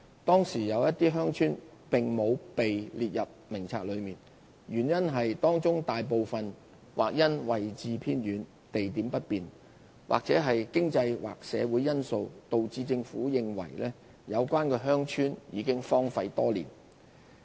當時有些鄉村並無列入名冊內，原因是當中大部分或因位置偏遠、地點不便或經濟/社會因素導致政府認為有關鄉村已荒廢多年。